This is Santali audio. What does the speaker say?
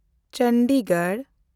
ᱪᱚᱱᱰᱤᱜᱚᱲ